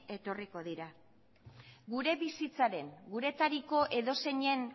etorriko dira gure bizitzaren guretariko edozeinen